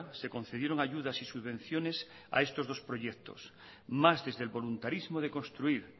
se concedieron ayudas y subvenciones a estos dos proyectos más desde el voluntarismo de construir